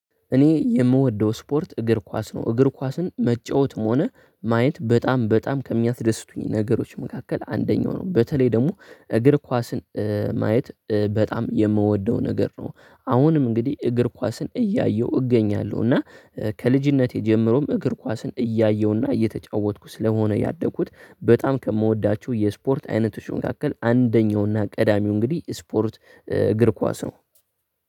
እኔ የምወደው ስፖርት እግር ኳስ ነው። እግር ኳስን መጫወትም ሆነ ማየት በጣም በጣም ከሚያስደስቱኝ ነገሮች መካከል አንደኛው ነው። በተለይ ደግሞ እግር ኳስን ማየት በጣም የምወደው ነገር ነው አሁንም እንግዲህ እግር ኳስን እያየሁ እገኛለሁ፤ እና ከልጅነቴ ጀምሮም እግር ኳስን እያየሁና እየተጫወትኩ ስለሆነ ያደግኩት በጣም ከምወዳችሁ የስፖርት አይነት መካከል አንደኛውና ቀዳሚው እንግዲህ ስፖርት እግር ኳስ ነው።